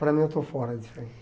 Para mim, eu estou fora disso aí.